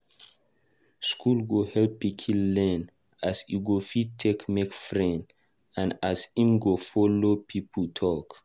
School go help pikin learn as e go fit take make friends and as em go follow people talk